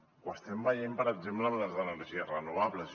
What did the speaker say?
ho estem veient per exemple amb les energies renovables